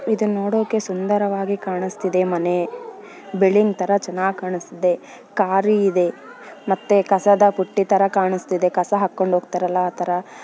ಇದು ನೋಡಕ್ಕೆ ತುಂಬಾ ಸುಂದರವಾಗಿ ಕಾಣಸ್ತಿದೆ ಮನೆ ಬಿಲ್ಡಿಂಗ್ ತರ ಚೆನ್ನಾಗ್ ಕಾಣಸ್ತಿದೆ ಕಾರು ಇದೆ ಮತ್ತೆ ಕಸದ ಬುಟ್ಟಿ ತರ ಕಾಣಸ್ತಿದೆ ಕಸ ಹಾಕೊಂಡು ಹೋಗ್ತಾರಲ್ಲ ಆತರ